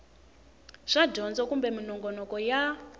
swa dyondzo kumbe minongonoko ya